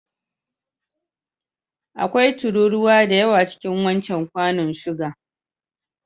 Akwai tururuwa da yawa cikin wancan kwanun suga.